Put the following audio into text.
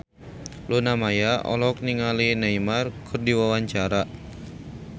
Luna Maya olohok ningali Neymar keur diwawancara